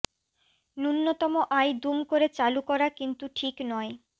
ন্যূনতম আয় দুম করে চালু করা কিন্তু ঠিক নয়